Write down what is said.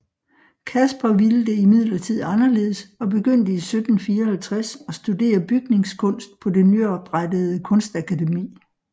Caspar ville det imidlertid anderledes og begyndte i 1754 at studere bygningskunst på det nyoprettede Kunstakademi